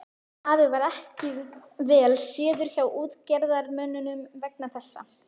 Afi varð ekki vel séður hjá útgerðarmönnum vegna þessa.